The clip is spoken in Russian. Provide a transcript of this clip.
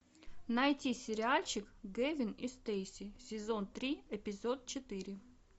найти сериальчик гевин и стейси сезон три эпизод четыре